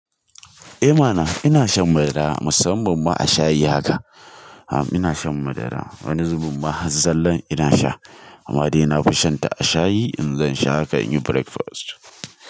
Eh ma na, ina shan madara musamman ma a shayi haka. Am ina shan madara wani zubin ma har zallan ina sha, amma dai na fi shan ta a shayi in zan sha haka in yi breakfast.